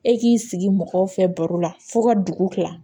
E k'i sigi mɔgɔw fɛ baro la fo ka dugu kila